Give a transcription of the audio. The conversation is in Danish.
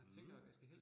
Mh